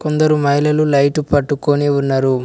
కొందరు మహిళలు లైటు పట్టుకొని ఉన్నరు.